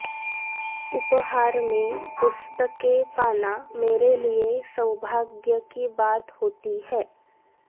उपहार में पुस्तकें पाना मेरे लिए सौभाग्य की बात होती है